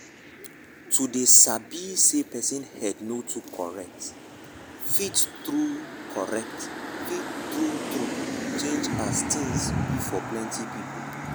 to dey quick sabi say person head no too correct fit true correct fit true true change as things be for plenty people